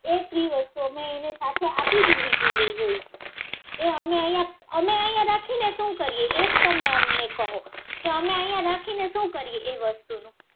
એ free અમે એને સાથે આપી દીધેલી હોય છે એ અમે અહી રાખી ને શું કરીએ એ જ તમે અમને કહો કે અમે અહી રાખીને શું કરીએ એ વસ્તુ નું